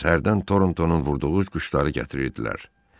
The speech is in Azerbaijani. Yalnız hərdən Torntonun vurduğu quşları gətirirdilər.